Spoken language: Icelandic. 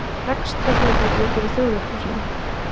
Er rekstrargrundvöllur fyrir Þjóðleikhúsinu?